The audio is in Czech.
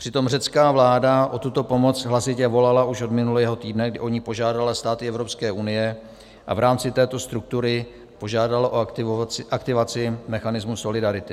Přitom řecká vláda o tuto pomoc hlasitě volala už od minulého týdne, kdy o ni požádala státy Evropské unie, a v rámci této struktury požádala o aktivaci mechanismu solidarity.